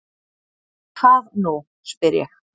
Hvað nú? spyr ég.